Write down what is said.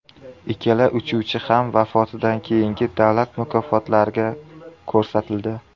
Ikkala uchuvchi ham vafotidan keyingi davlat mukofotlariga ko‘rsatildi.